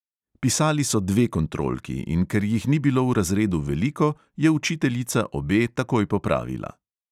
Pisali so dve kontrolki, in ker jih ni bilo v razredu veliko, je učiteljica obe takoj popravila.